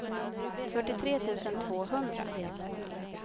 fyrtiotre tusen tvåhundra